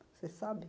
Você sabe?